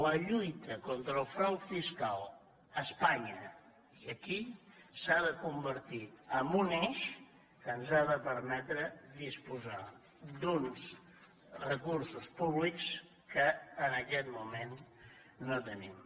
la lluita contra el frau fiscal a espanya i aquí s’ha de convertir en un eix que ens ha de permetre disposar d’uns recursos públics que en aquest moment no tenim